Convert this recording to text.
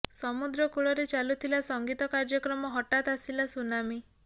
ସମୁଦ୍ର କୂଳରେ ଚାଲୁଥିଲା ସଂଗୀତ କାର୍ଯ୍ୟକ୍ରମ ହଠାତ୍ ଆସିଲା ସୁନାମୀ